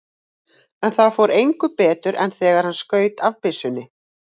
En það fór engu betur en þegar hann skaut af byssunni.